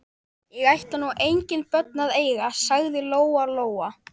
Ég ætla nú engin börn að eiga, sagði Lóa Lóa.